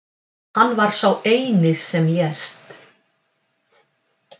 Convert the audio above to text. Hann var sá eini sem lést